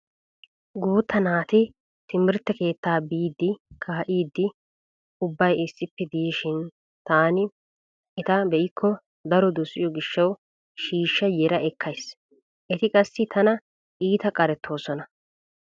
Guutta naati timirtte keettaa biidi kaa'iiddi ubbay issippe diishin taani eta be'ikko daro dosiyo gishshawu shiishsha yera ekkays. Eti qassi tana iita qarettoosona.